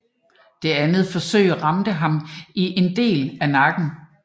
Det andet forsøg ramte ham i en del af nakken